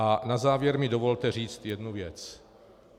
A na závěr mi dovolte říct jednu věc.